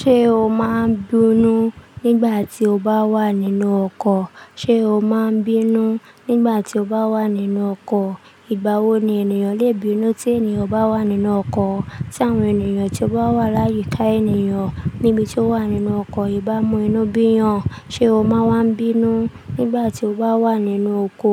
Ṣé o máa ń bínú nígbà tí o bá wà nínú ọkọ̀? Ṣé o máa ń bínú nígbà tí o bá wà nínú ọkọ̀? Ìgbà wo ni ènìyàn lè bínú tí ènìyàn bá wà nínú ọkọ̀? Ti àwọn ènìyàn tí ó bá wà láyìíká ènìyàn níbi tí ó wà nínú ọkọ̀ ìbámu inú bíyàn, ṣe o máa wá ń bínú nígbà tí o bá wà nínú oko